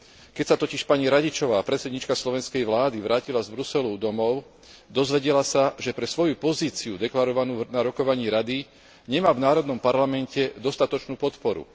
Keď sa totiž pani Radičová, predsedníčka slovenskej vlády, vrátila z Bruselu domov, dozvedela sa, že pre svoju pozíciu deklarovanú na rokovaní Rady nemá v národnom parlamente dostatočnú podporu.